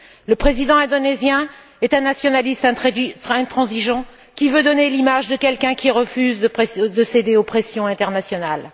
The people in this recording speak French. Le président indonésien est un nationaliste intransigeant, qui veut donner l'image de quelqu'un qui refuse de céder aux pressions internationales.